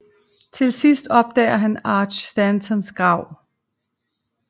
Til sidst opdager han Arch Stantons grav